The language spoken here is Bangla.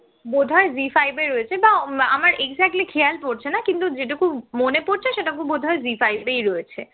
বোধ হয় জি five এ রয়েছে বা আমার exactly খেয়াল পরছে না কিন্তু যেটুকু মনে পড়ছে সেটা বোধহয় জি five এই রয়েছে